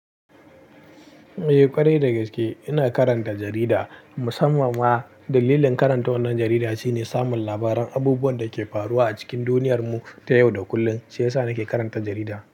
Eh ƙwarai da gaske ina karanta jarida. Musamman ma dalilin karanta wannan jarida shine samun labaran abubuwan da ke faruwa a cikin duniyar mu ta yau da kullum. Shi yasa nake karanta jarida.